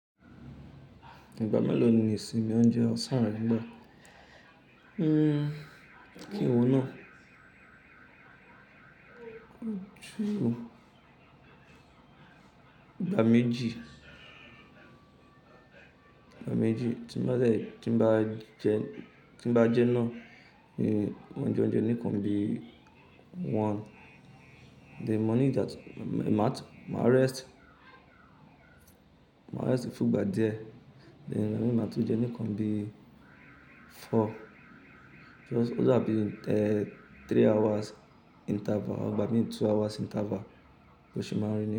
Ìgbà mélòó ni ìsinmi oúnjẹ ọ̀sán rẹ gbà? Hmm kí n wo náà? Ju ìgbà méjì. Méjì tí n bá dẹ̀ tí n bá jẹ tí n bá jẹ́ náà ni mo jẹ óúnjẹ nìkan bí i one, then mo need àti má rest, má rest fúngbà díẹ̀ then ìgbà mi màá tún jẹun nìkan bí i four just ó dà bí three hours interval ìgbà mí ì two hours interval bó ṣe máa rì ní yẹn.